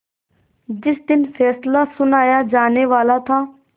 जिस दिन फैसला सुनाया जानेवाला था